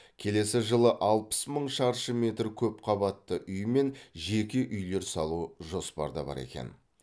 келесі жылы алпыс мың шаршы метр көп қабатты үй мен жеке үйлер салу жоспарда бар екен